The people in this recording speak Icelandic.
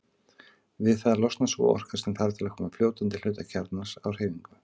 Við það losnar sú orka sem þarf til að koma fljótandi hluta kjarnans á hreyfingu.